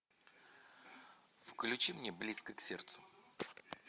включи мне близко к сердцу